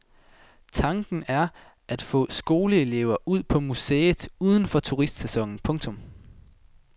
Tanken er at få skoleelever ud på museet uden for turistsæsonen. punktum